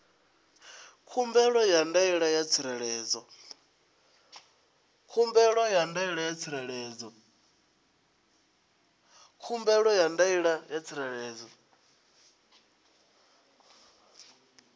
khumbelo ya ndaela ya tsireledzo